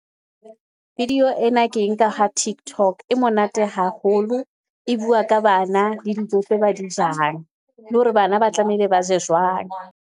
Video ena ke e nka ha tiktok e monate haholo e bua ka bana le dijo tse ba di jang le hore bana ba tlamehile ba je jwang.